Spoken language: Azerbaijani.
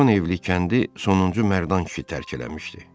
Beş-on evlik kəndi sonuncu Mərdan kişi tərk eləmişdi.